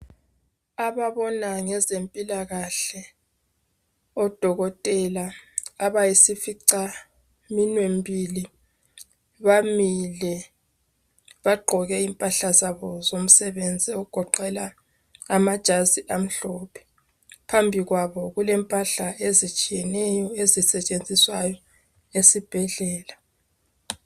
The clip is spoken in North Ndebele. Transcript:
Ababona ngezempilakahle oDokotela abayisificaminwembili, bamile bagqoke impahla zabo zomsebenzi ogodela amajazi amhlophe phambikwabo. Kule ezitshiyeneyo ezisetshenziswa esibhedlela.